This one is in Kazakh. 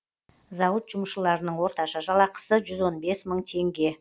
зауыт жұмысшыларының орташа жалақысы жүз он бес мың теңге